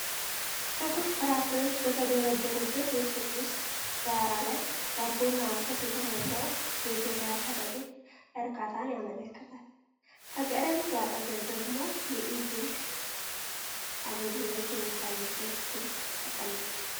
ትኩስ ፍራፍሬዎች በተደረደሩበት የሱቅ ውስጥ ዳራ ላይ፣ ዳቦና ወተት የተሞላው የገበያ ከረጢት እርካታን ያመለክታል። በከረጢቱ አጠገብ ደግሞ የኢ-ብር አገልግሎት የሚታይበት ስልክ ተቀምጧል።